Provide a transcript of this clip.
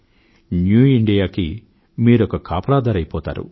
new ఇండియాకు మీరొక కాపలాదారు అయిపోతారు